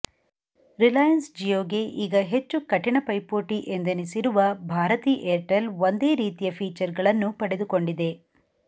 ರಿಲಾಯನ್ಸ್ ಜಿಯೋಗೆ ಈಗ ಹೆಚ್ಚು ಕಠಿಣ ಪೈಪೋಟಿ ಎಂದೆನಿಸಿರುವ ಭಾರತಿ ಏರ್ಟೆಲ್ ಒಂದೇ ರೀತಿಯ ಫೀಚರ್ಗಳನ್ನು ಪಡೆದುಕೊಂಡಿದೆ